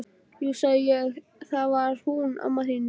Jú sagði ég, það var þegar hún amma þín dó